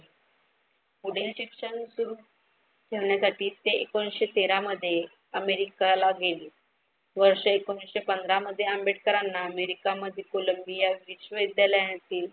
पुढील शिक्षण सुरु करण्यासाठी ते एकोणीशे तेरा मध्ये अमेरिकाला गेले. वर्ष एकोणीशे पंधरा मध्ये आंबेडकरांना अमेरिका मध्ये कोलंबिया विश्वविद्यालयातील